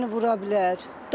Maşın səni vura bilər.